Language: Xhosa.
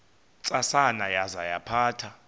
ntsasana yaza yaphatha